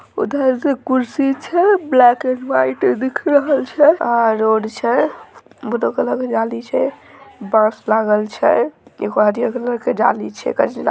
उधर कुर्सी छै ब्लैक एण्ड व्हाइट-- के दिख रहल छै आर रोड छै बांस लागल छै---